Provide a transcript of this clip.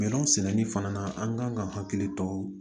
Minɛnw sɛnɛli fana na an kan ka hakili to